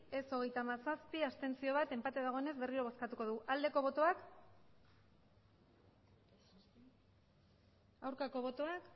ez hogeita hamazazpi abstentzioak bat enpate dagoenez berriro bozkatuko dugu aldeko botoak aurkako botoak